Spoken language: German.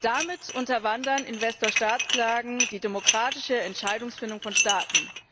Damit unterwandern Investor Staat Klagen die demokratische Entscheidungsfindung von Staaten.